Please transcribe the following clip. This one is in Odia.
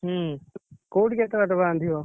ହୁଁ କୋଉଠି କେତେବାଟ ବାନ୍ଧିବ?